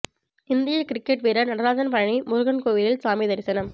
இந்திய கிரிக்கெட் வீரர் நடராஜன் பழனி முருகன் கோயிலில் சாமி தரிசனம்